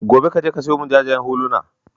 Gobe, ka je ka sayo min jajayen huluna.